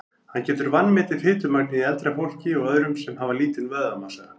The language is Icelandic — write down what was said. Hann getur vanmetið fitumagnið í eldra fólki og öðrum sem hafa lítinn vöðvamassa.